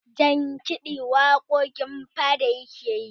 jankidi waƙoƙin fada yake yi